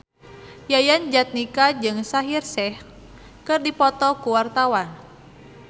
Yayan Jatnika jeung Shaheer Sheikh keur dipoto ku wartawan